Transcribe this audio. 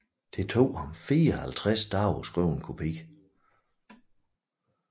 Det tog ham 54 dage at skrive en kopi